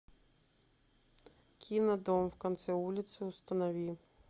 кино дом в конце улицы установи